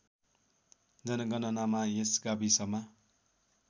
जनगणनामा यस गाविसमा